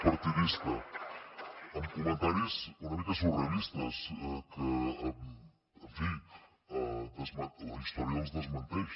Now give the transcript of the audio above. partidista amb comentaris una mica surrealistes que en fi la història els desmenteix